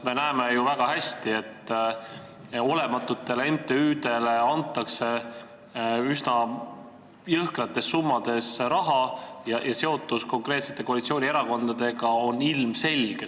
Me näeme ju väga hästi, et olematutele MTÜ-dele antakse üsna jõhkraid rahasummasid ja nende seotus konkreetsete koalitsioonierakondadega on ilmselge.